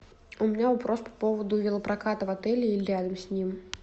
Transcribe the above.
у меня вопрос по поводу велопроката в отеле или рядом с ним